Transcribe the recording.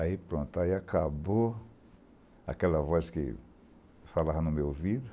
Aí pronto, acabou aquela voz que falava no meu ouvido,